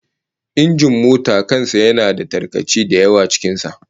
Injin mota kan sa yana da tarkace da yawa cikin sa